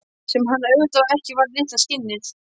Sem hann auðvitað ekki var, litla skinnið.